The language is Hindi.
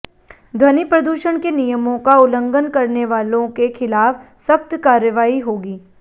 ध्वनि प्रदूषण के नियमों का उल्लंघन करने वालों के खि़लाफ़ सख्त कार्यवाही होगी